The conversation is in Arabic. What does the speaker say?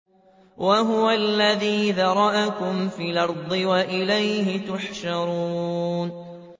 وَهُوَ الَّذِي ذَرَأَكُمْ فِي الْأَرْضِ وَإِلَيْهِ تُحْشَرُونَ